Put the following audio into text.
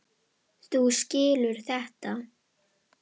Þú skilur þetta?